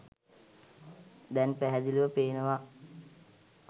දැන් පැහැදිලිව පේනවා.